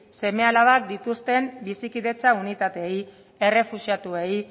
seme alabak dituzten bizikidetza unitateei errefuxiatuei